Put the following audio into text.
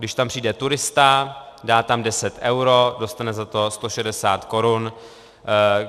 Když tam přijde turista, dá tam 10 eur, dostane za to 160 korun.